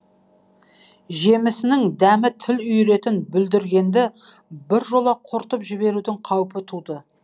жемісінің дәмі тіл үйіретін бүлдіргенді біржола құртып жіберудің қаупі туды